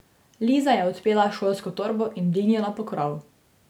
Liza je odpela šolsko torbo in dvignila pokrov.